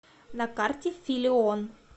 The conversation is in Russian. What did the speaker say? на карте филион